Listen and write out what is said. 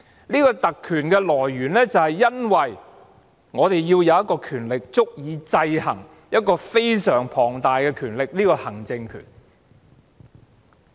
這項特權的來源是因為我們要有一項權力，足以制衡另一個非常龐大的權力，即行政權。